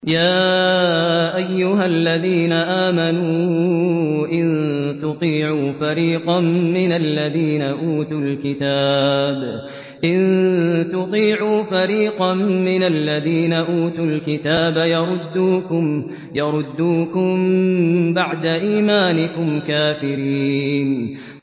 يَا أَيُّهَا الَّذِينَ آمَنُوا إِن تُطِيعُوا فَرِيقًا مِّنَ الَّذِينَ أُوتُوا الْكِتَابَ يَرُدُّوكُم بَعْدَ إِيمَانِكُمْ كَافِرِينَ